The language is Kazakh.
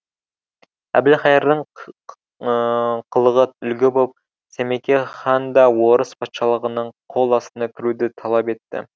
әбілқайырдың қылығы үлгі боп сәмеке хан да орыс патшалығының қол астына кіруді талап етті